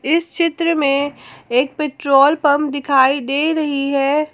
इस चित्र में एक पेट्रोल पंप दिखाई दे रही है।